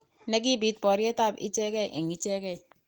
Ne nekiib boryet ab icheget eng icheget.